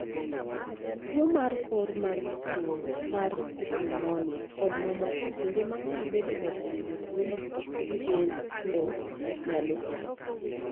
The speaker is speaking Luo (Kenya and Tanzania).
tuo mar kor ma thung' mar numonia kod mamoko kinde mang'eny bedo ga kuom jotuo gi kendo nyalo kelo tho